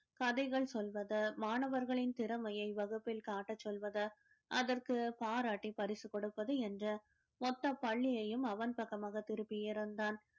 கதைகள் சொல்வது மாணவர்களின் திறமைய வகுப்பில் காட்ட சொல்வது அதற்கு பாராட்டி பரிசு கொடுப்பது என்று மொத்த பள்ளியையும் அவன் பக்கமாக திருப்பி இருந்தான்